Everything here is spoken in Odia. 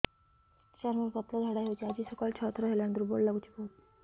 ସାର ମୋର ପତଳା ଝାଡା ହେଉଛି ଆଜି ସକାଳୁ ଛଅ ଥର ହେଲାଣି ଦୁର୍ବଳ ଲାଗୁଚି ବହୁତ